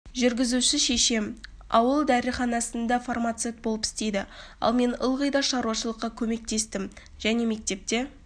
жүргізуші шешем ауыл дәріханасында фармацевт болып істеді ал мен ылғи да шаруашылыққа көмектестім және мектепте